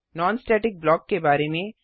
non static block के बारे में